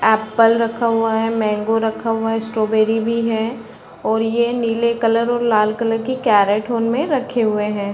Apple रखा हुआ है मैंगो रखा हुआ है स्ट्रॉबेर्री भी है और ये नीले कलर और लाल कलर के रेटून में रखे हुए है।